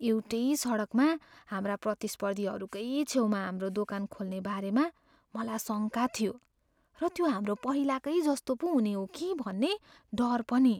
एउटै सडकमा हाम्रा प्रतिस्पर्धीहरूकै छेउमा हाम्रो दोकान खोल्ने बारेमा मलाई शङ्का थियो र त्यो हाम्रो पहिलाकै जस्तै पो हुने हो कि भन्ने डर पनि।